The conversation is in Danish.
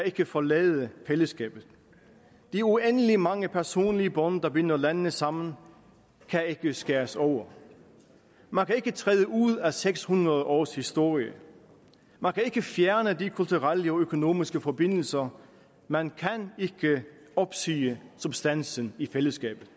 ikke kan forlade fællesskabet de uendeligt mange personlige bånd der binder landene sammen kan ikke skæres over man kan ikke træde ud af seks hundrede års historie man kan ikke fjerne de kulturelle og økonomiske forbindelser man kan ikke opsige substansen i fællesskabet